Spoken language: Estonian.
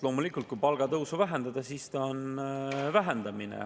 Loomulikult, kui palgatõusu vähendada, siis ta on vähendamine.